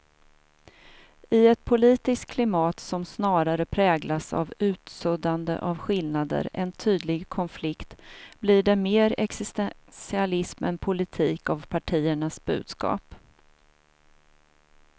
I ett politiskt klimat som snarare präglas av utsuddande av skillnader än tydlig konflikt blir det mer existentialism än politik av partiernas budskap.